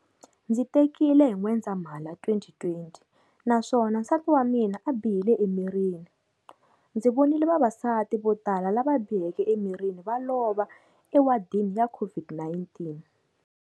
Ndzi tekile hi N'wendzamhala 2020 naswona nsati wa mina a bihile emirini. Ndzi vonile vavasati vo tala lava biheke emirini va lova ewadini ya COVID-19.